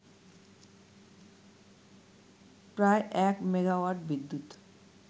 প্রায় এক মেগাওয়াট বিদ্যুৎ